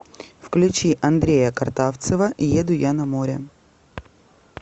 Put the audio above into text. включи андрея картавцева еду я на море